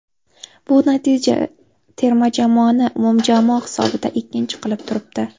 Bu natija terma jamoani umumjamoa hisobida ikkinchi qilib turibdi.